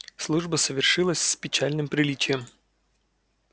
служба совершилась с печальным приличием